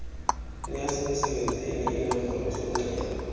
neyasemsebenzini iinombolo zomnxeba